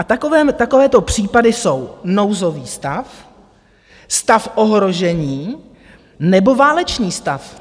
A takovéto případy jsou - nouzový stav, stav ohrožení nebo válečný stav.